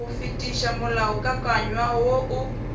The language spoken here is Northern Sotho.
go fetiša molaokakanywa wo o